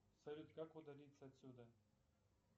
салют как удалиться отсюда